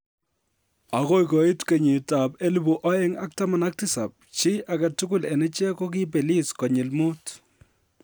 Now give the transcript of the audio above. Agoi koit kenyitab 2017, chi agetugul en ichek kogiibelis konyil mut.